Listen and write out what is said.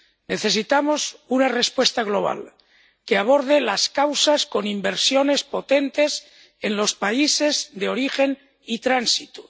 Necesitamos una respuesta global que aborde las causas con inversiones potentes en los países de origen y tránsito